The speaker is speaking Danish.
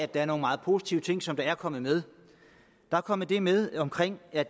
der er nogle meget positive ting som er kommet med der er kommet det med omkring at